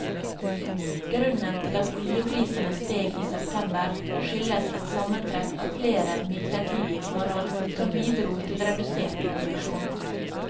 Grunnen til at oljeprisene steg i september, skyldes et sammentreff av flere midlertidige forhold som bidro til redusert produksjon.